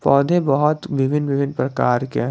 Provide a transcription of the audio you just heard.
पौधे बहुत विभिन्न विभिन्न प्रकार के हैं।